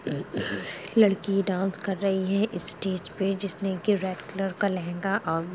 लड़की डांस कर रही है स्टेज पे जिसने कि रेड कलर का लहंगा और--